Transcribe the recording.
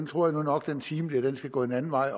tror nu nok at den time skal gå en anden vej